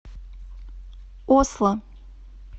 осло